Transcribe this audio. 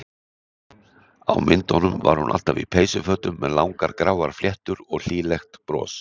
Á myndunum var hún alltaf í peysufötum með langar gráar fléttur og hlýlegt bros.